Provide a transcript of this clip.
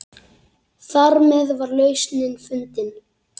Þarmeð var lausnin fundin.